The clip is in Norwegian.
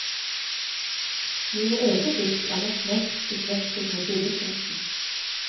Mine egne dikt er nok mest beslektet med billedkunsten.